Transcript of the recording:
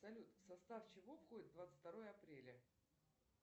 салют в состав чего входит двадцать второе апреля